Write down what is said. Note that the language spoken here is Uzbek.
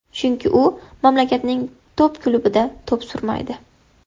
Chunki u mamlakatning top klubida to‘p surmaydi.